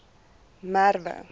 merwe